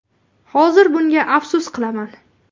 Hozir bunga afsus qilaman.